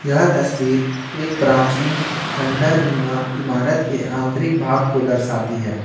यह तस्वीर एक प्राचीन खंडहर नुमा इमारत के आंतरिक भाग को दर्शाती है।